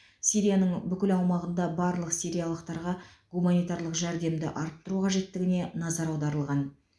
сирияның бүкіл аумағында барлық сириялықтарға гуманитарлық жәрдемді арттыру қажеттігіне назар аударылған